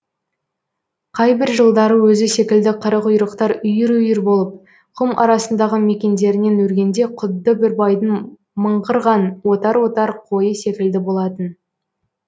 қайбір жылдары өзі секілді қарақұйрықтар үйір үйір болып құм арасындағы мекендерінен өргенде құдды бір байдың мыңғырған отар отар қойы секілді болатын